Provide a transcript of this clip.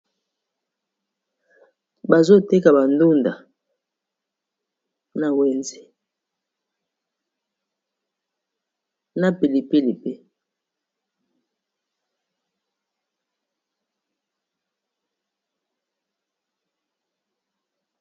Awa namoni balakisi biso esika mokoboye na wenze bazoteka bandunda na pilipili pembeni